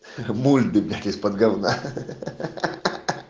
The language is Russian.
бульбит из-под гавна ха-ха-ха-ха